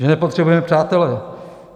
Že nepotřebujeme přátele.